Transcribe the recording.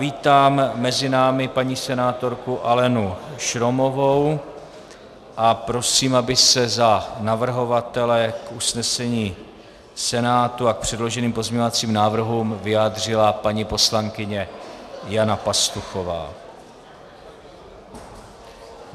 Vítám mezi námi paní senátorku Alenu Šromovou a prosím, aby se za navrhovatele k usnesení Senátu a k předloženým pozměňovacím návrhům vyjádřila paní poslankyně Jana Pastuchová.